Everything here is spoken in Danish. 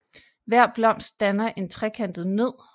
Hver blomst danner en trekantet nød